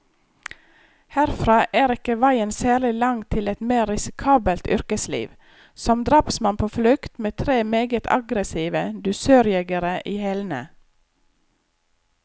Herfra er ikke veien særlig lang til et mer risikabelt yrkesliv, som drapsmann på flukt, med tre meget aggressive dusørjegere i hælene.